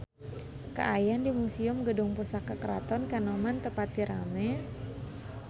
Kaayaan di Museum Gedung Pusaka Keraton Kanoman teu pati rame